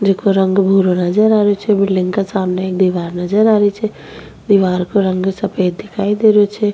जिको रंग भुरो नजर आ रियो छे बिल्डिंग के सामने एक दिवार नजर आ रही छे दिवार को रंग सफेद दिखाई दे रियो छे।